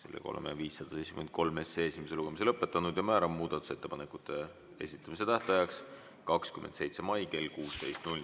Oleme eelnõu 573 esimese lugemise lõpetanud ja määran muudatusettepanekute esitamise tähtajaks 27. mai kell 16.